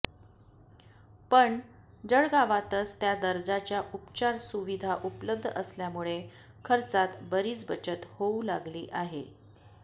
पण जळगावातच त्या दर्जाच्या उपचार सुविधा उपलब्ध असल्यामुळे खर्चात बरीच बचत होऊ लागली आहे